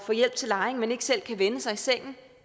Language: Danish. få hjælp til lejring men ikke selv kan vende sig i sengen